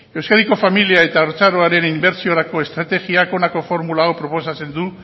euskadiko familia eta haurtzaroaren inbertsiorako estrategiak honako formula hau proposatzen du